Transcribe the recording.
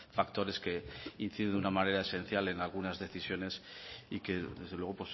factores que inciden de una manera esencial en algunas decisiones y que desde luego